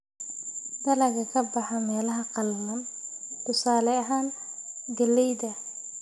Dalagga ka baxa meelaha qallalan: tusaale ahaan, galleyda.